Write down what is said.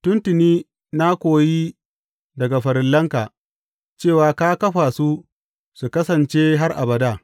Tun tuni na koyi daga farillanka cewa ka kafa su su kasance har abada.